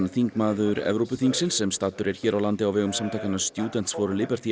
þingmaður Evrópuþingsins sem staddur er hér á landi á vegum samtakanna students for